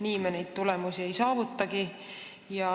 Nii me neid tulemusi ei saavutagi.